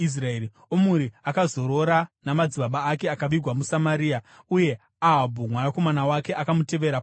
Omuri akazorora namadzibaba ake akavigwa muSamaria. Uye Ahabhu mwanakomana wake akamutevera paumambo.